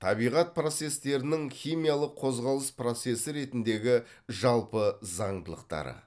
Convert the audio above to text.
табиғат процестерінің химиялық қозғалыс процесі ретіндегі жалпы заңдылықтары